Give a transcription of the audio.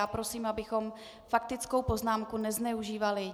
Já prosím, abychom faktickou poznámku nezneužívali.